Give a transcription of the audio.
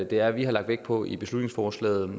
det er vi har lagt vægt på i beslutningsforslaget